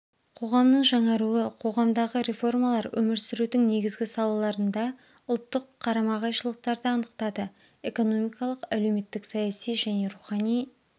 қоғамның жаңаруы қоғамдағы реформалар өмір сүрудің негізгі салаларында ұлттық қарама-қайшылықтарды анықтады экономикалық әлеуметтік-саяси және рухани